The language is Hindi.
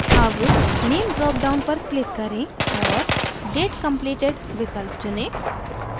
अब name dropdown पर click करें और date completed विकल्प चुनें